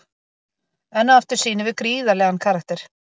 Enn og aftur sýnum við gríðarlegan karakter.